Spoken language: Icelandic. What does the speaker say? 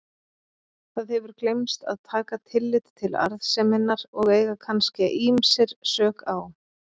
Það hefur gleymst að taka tillit til arðseminnar og eiga kannske ýmsir sök á.